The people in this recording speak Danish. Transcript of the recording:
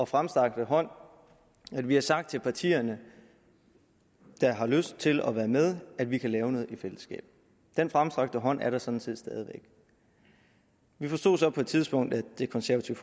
fremstrakte hånd at vi har sagt til de partier der har lyst til at være med at vi kan lave noget i fællesskab den fremstrakte hånd er der sådan set stadig væk vi forstod så på et tidspunkt at det konservative